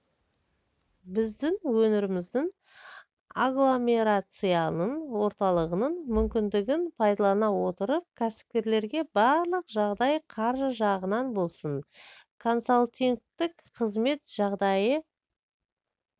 біздің өңіріміздің агломерацияның орталығының мүмкіндігін пайдалана отырып кәсіпкерлерге барлық жағдай қаржы жағынан болсын консалтингтік қызмет жағдайы